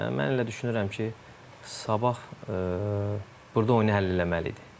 Yəni mən elə düşünürəm ki, Sabah burda oyunu həll eləməli idi.